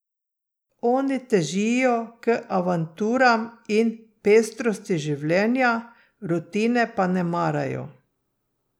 Oni težijo k avanturam in pestrosti življenja, rutine pa ne marajo.